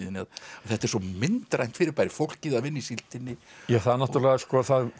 þetta er svo myndrænt fyrirbæri fólkið að vinna í síldinni það